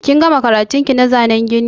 Kin gama karatun ki na zanen gini?